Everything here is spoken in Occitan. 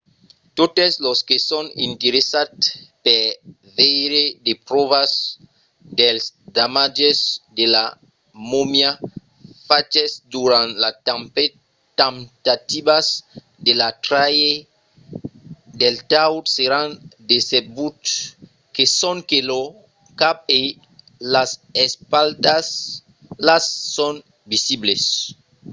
totes los que son interessats per veire de pròvas dels damatges de la momia faches durant las temptativas de la traire del taüt seràn decebuts que sonque lo cap e las espatlas son visibles